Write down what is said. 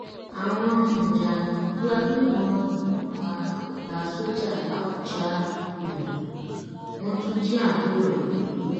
àwọn um jàǹdùkú agbébọn yìnbọn pa ọgá sójà làbújá um wọn tún jí àbúrò ẹ gbé